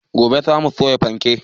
Gobe za mu soya fanke